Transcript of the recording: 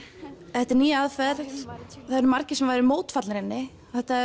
þetta er ný aðferð og margir mótfallnir henni